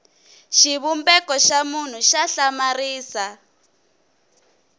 xivumbeko xa munhu xa hlamarisa